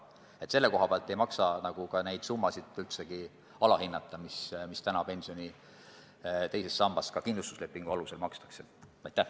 Nii et selle koha pealt ei maksa neid summasid, mis täna pensioni teisest sambast ka kindlustuslepingu alusel makstakse, sugugi alahinnata.